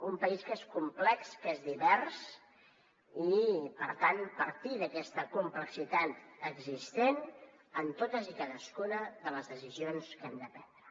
un país que és complex que és divers i per tant partir d’aquesta complexitat existent en totes i cadascuna de les decisions que hem de prendre